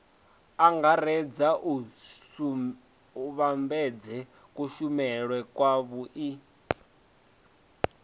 angaredza u vhambedza kushumele kwavhui